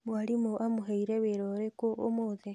Mwalimũ amũheire wĩra ũrĩkũ ũmũthĩ?